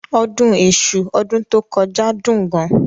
Ọdún Èṣù ọdún tó kọjá dún gan.